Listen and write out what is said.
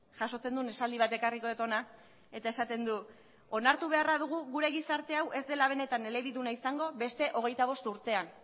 jasotzen duen esaldi bat ekarriko dut hona eta esaten du onartu beharra dugu gure gizarte hau ez dela benetan elebiduna izango beste hogeita bost urtean